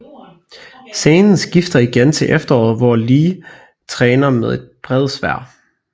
Scenen skifter igen til efterår hvor Lei træner med et bredsværd